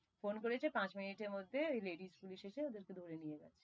phone করেছে, পাঁচ মিনিটের মধ্যে ওই ladies পুলিশ এসে ওদের কে ধরে নিয়ে গেছে,